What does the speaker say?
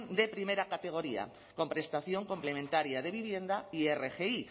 de primera categoría con prestación complementaria de vivienda y rgi